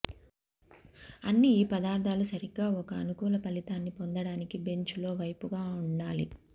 అన్ని ఈ పదార్థాలు సరిగ్గా ఒక అనుకూల ఫలితాన్ని పొందడానికి బెంచ్ లో వైపుగా ఉండాలి